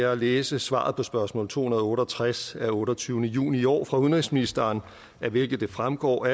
at læse svaret på spørgsmål to hundrede og otte og tres af otteogtyvende juni i år fra udenrigsministeren af hvilket det fremgår og